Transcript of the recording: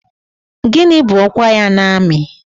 Gịnị bụ ọkwa ya n'amị?